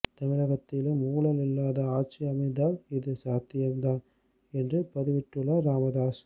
தமிழகத்திலும் ஊழல் இல்லாத ஆட்சி அமைந்தால் இது சாத்தியம் தான் என்று பதிவிட்டுள்ளார் ராமதாஸ்